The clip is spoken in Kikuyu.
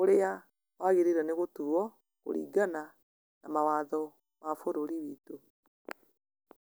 ũrĩa wagĩrĩire nĩ gũtuo, kũringana na mawatho ma bũrũri witũ.